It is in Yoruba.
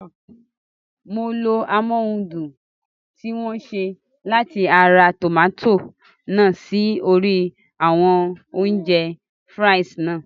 Mo lo amóhundùn tí wọ́n ṣe látara tòmátò náà sí orí àwọn oúnjẹ (fries) náà